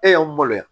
E y'anw balo yan